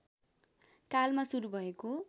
कालमा सुरु भएको